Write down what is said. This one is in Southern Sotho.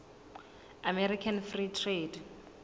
american free trade